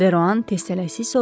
Deroan tələsik soruşdu.